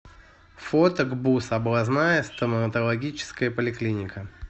фото гбуз областная стоматологическая поликлиника